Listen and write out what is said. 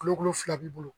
Kulokulu fila b'i bolo